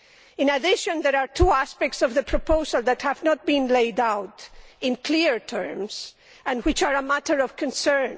In addition, there are two aspects of the proposal that have not been laid out in clear terms and which are a matter of concern.